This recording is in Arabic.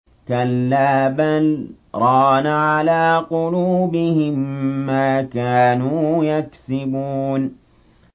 كَلَّا ۖ بَلْ ۜ رَانَ عَلَىٰ قُلُوبِهِم مَّا كَانُوا يَكْسِبُونَ